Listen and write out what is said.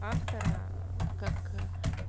автора как